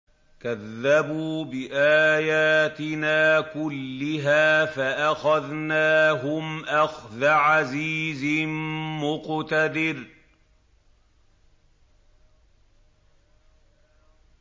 كَذَّبُوا بِآيَاتِنَا كُلِّهَا فَأَخَذْنَاهُمْ أَخْذَ عَزِيزٍ مُّقْتَدِرٍ